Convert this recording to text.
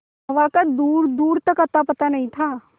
हवा का दूरदूर तक अतापता नहीं था